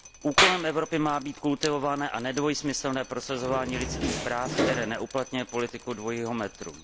Úkolem Evropy má být kultivované a nedvojsmyslné prosazování lidských práv, které neuplatňuje politiku dvojího metru.